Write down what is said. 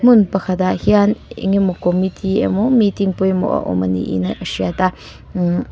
hmun pakhatah hian eng emaw committee emaw meeting pawimawh a awm a niin a hriat a mmm --